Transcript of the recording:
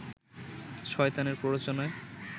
শয়তানের প্ররোচনায়